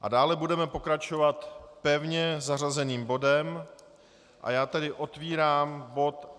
A dále budeme pokračovat pevně zařazeným bodem, a já tedy otevírám bod